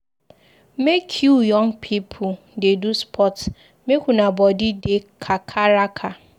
Make you young pipu dey do sports make una body dey kakaraka.